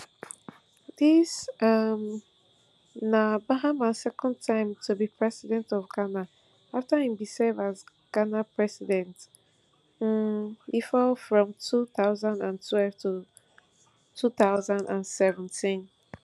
dis um na mahama second time to be president of ghana afta e bin serve as ghana president um bifor from two thousand and twelve to two thousand and seventeen